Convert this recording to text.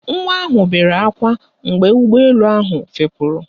Nwa ahụ bere ákwá mgbe ụgbọelu ahụ fepuru